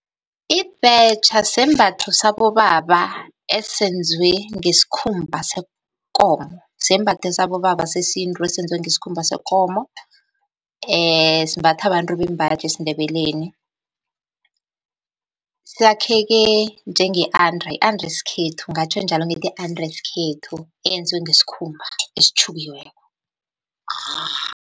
Ibhetjha sisembatho sabobaba esenziwe ngesikhumba sekomo, sisembatho sabobaba sesintu esenziwe ngesikhumba sekomo, simbathwa babantu bembaji esiNdebeleni. Sakheke njenge-under, yi-under yesikhethu ngingatjho njalo ngithi, yi-under yesikhethu eyenziwe, ngesikhumba esitjhukiweko .